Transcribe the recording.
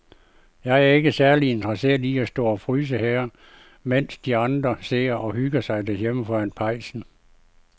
Jeg er ikke særlig interesseret i at stå og fryse her, mens de andre sidder og hygger sig derhjemme foran pejsen.